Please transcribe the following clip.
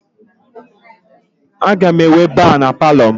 Aga m enwe ba na Palọ m